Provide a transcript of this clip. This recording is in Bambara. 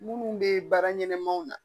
Minnu bɛ baara ɲɛnɛmaw na